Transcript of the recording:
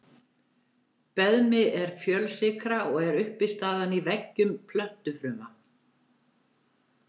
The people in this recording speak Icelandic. Beðmi er fjölsykra og er uppistaðan í veggjum plöntufruma.